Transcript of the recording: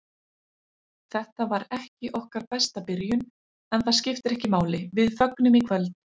Þetta var ekki okkar besta byrjun, en það skiptir ekki máli, við fögnum í kvöld.